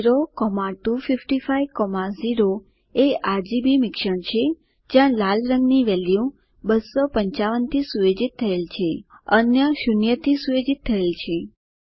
02550 એ આરજીબી મિશ્રણ છે જ્યાં લીલા રંગની વેલ્યુ 255 થી સુયોજિત થયેલ છે અન્ય 0 થી સુયોજિત થયેલ છે